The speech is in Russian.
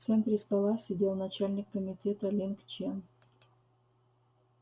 в центре стола сидел начальник комитета линг чен